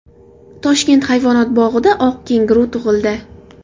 Toshkent hayvonot bog‘ida oq kenguru tug‘ildi .